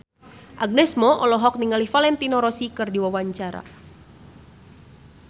Agnes Mo olohok ningali Valentino Rossi keur diwawancara